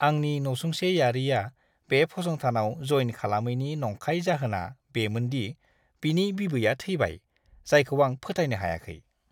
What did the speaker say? आंनि नसुंसेयारिआ बे फसंथानाव जइन खालामैनि नंखाय जाहोना बेमोन दि बिनि बिबैया थैबाय, जायखौ आं फोथायनो हायाखै!